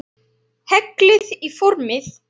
Hellið í formið.